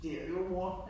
Det er jo mor